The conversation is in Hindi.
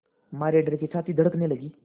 मारे डर के छाती धड़कने लगी